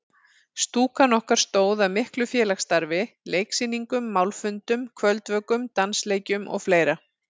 Stúkan okkar stóð að miklu félagsstarfi: Leiksýningum, málfundum, kvöldvökum, dansleikjum og fleira.